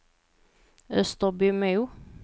Österbymo